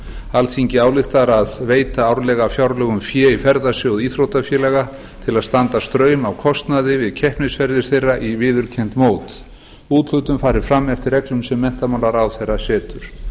alþingi ályktar að veita árlega af fjárlögum fé í ferðasjóð íþróttafélaga til að standa straum af kostnaði við keppnisferðir þeirra á viðurkennd mót úthlutun fari eftir reglum sem menntamálaráðherra setur